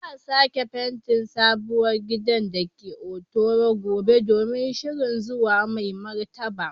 Za a sake fentin sabuwar gidan da ke Hotoro gobe domin shirin zuwan Mai Martaba.